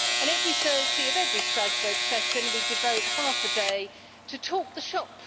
Every Thursday of every Strasbourg session we devote half a day to talking shop.